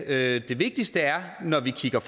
at det vigtigste når vi kigger